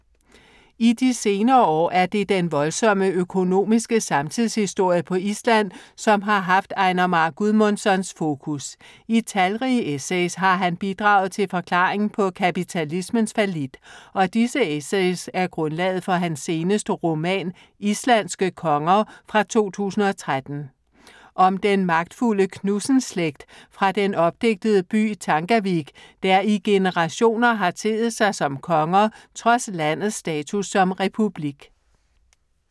I de senere år er det den voldsomme økonomiske samtidshistorie på Island, som har haft Einar Már Guðmundssons fokus. I talrige essays har han bidraget til forklaringen på kapitalismens fallit og disse essays er grundlaget for hans seneste roman Islandske konger fra 2013. Om den magtfulde Knudsen-slægt fra den opdigtede by Tangavik, der i generationer har teet sig som konger, trods landets status som republik.